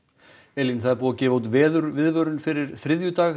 Elín það er búið að gefa út fyrir þriðjudaginn